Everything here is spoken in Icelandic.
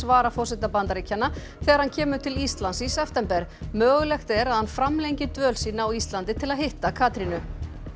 varaforseta Bandaríkjanna þegar hann kemur til Íslands í september mögulegt er að hann framlengi dvöl sína á Íslandi til að hitta Katrínu